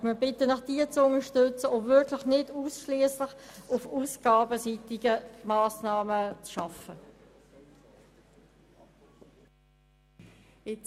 Wir bitten Sie, diese zu unterstützen und nicht ausschliesslich auf ausgabenseitige Massnahmen zu setzen.